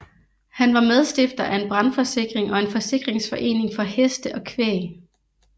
Han var medstifter af en brandforsikring og en forsikringsforening for heste og kvæg